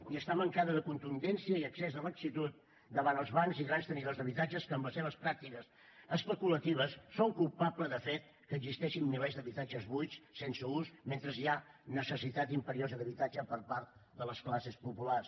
i està mancada de contundència i excés de laxitud davant els bancs i grans tenidors d’habitatges que amb les seves pràctiques especulatives són culpables del fet que existeixin milers d’habitatges buits sense ús mentre hi ha necessitat imperiosa d’habitatge per part de les classes populars